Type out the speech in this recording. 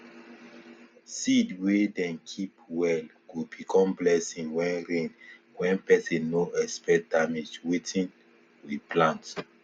seed wey dem keep well go become blessing wen rain wen pesin nor expect damage wetin we plant